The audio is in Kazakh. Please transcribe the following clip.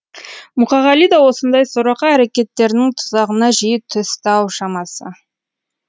мұқағали да осындай сорақы әрекеттердің тұзағына жиі түсті ау шамасы